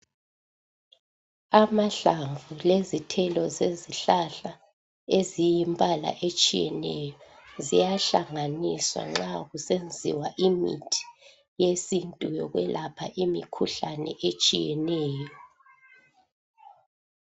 Amahlamvu lezithelo zezihlahla eziyimbala etshiyeneyo ziyahlanganiswa nxa kusenziwa imithi yesintu yokwelapha imikhuhlane etshiyeneyo.